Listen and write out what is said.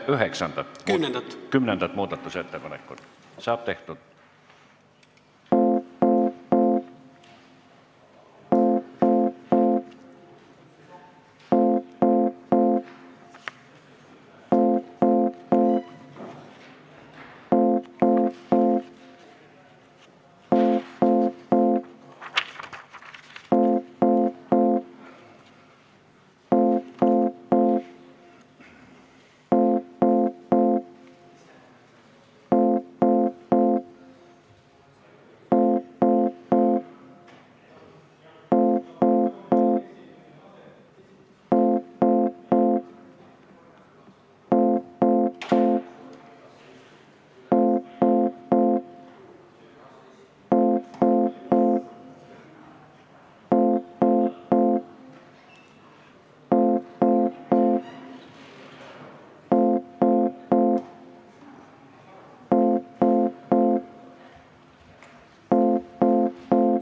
Palun kümnendat muudatusettepanekut hääletada!